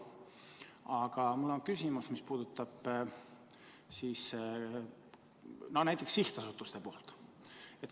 Aga mul on küsimus, mis puudutab sihtasutusi.